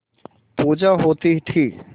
पूजा होती थी